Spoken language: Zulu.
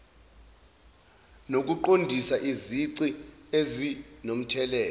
nokuqondisisa izici ezinomthelela